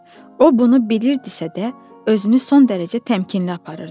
O bunu bilirdisə də, özünü son dərəcə təmkinli aparırdı.